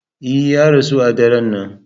E, ya rasu a daren nan.